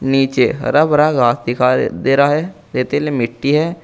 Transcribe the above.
नीचे हरा भरा घास दिखाई दे रहा है रेतील मिट्टी है।